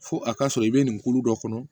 Fo a ka sɔrɔ i bɛ nin kulo dɔ kɔnɔ